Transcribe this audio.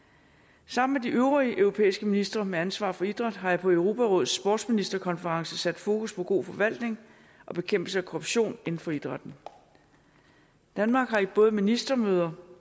sammen med de øvrige europæiske ministre med ansvar for idræt har jeg på europarådets sportsministerkonference sat fokus på god forvaltning og bekæmpelse af korruption inden for idrætten danmark har både på ministermøder